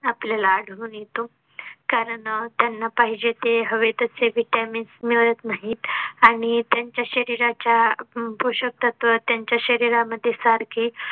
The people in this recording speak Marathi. आपल्याला आढळून येतो कारण अह त्यांना पाहिजे ते हवे तशे vitamins मिळत नाहीत आणि त्यांच्या शरीराच्या पोषकतत्व त्यांच्या शरीरा मध्ये सारखी